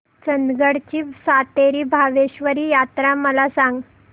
चंदगड ची सातेरी भावेश्वरी यात्रा मला सांग